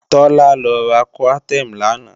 Tọ́lá lọ ra Coartem làná